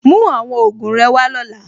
Mú àwọn ògùn rẹ wá lọ́la.